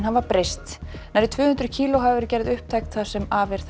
hafa breyst nærri tvö hundruð kíló hafa verið gerð upptæk það sem af er